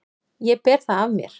Ég ber það af mér.